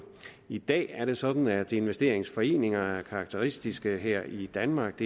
i dag er det sådan at investeringsforeninger er karakteristiske her i danmark